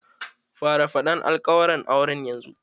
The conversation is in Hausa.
Fara faɗan alƙawaran auren yanzu!